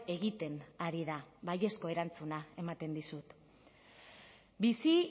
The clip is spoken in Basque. egiten ari da baiezko erantzuna ematen dizut bizi